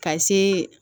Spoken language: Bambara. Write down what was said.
Ka se